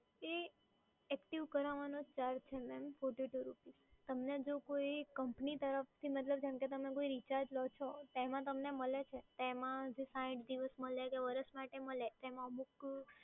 એ active કારાવાનો charge છે ને તમને જો